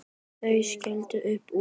Þau skella upp úr.